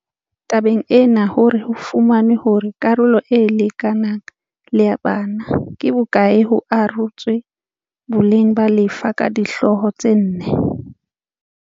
Tabeng ena hore ho fumanwe hore karolo e lekanang le ya bana ke bo kae ho arotswe boleng ba lefa ka dihlooho tse nne.